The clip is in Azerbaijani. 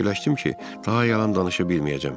Fikirləşdim ki, daha yalan danışa bilməyəcəm.